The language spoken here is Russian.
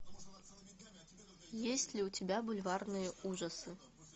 есть ли у тебя бульварные ужасы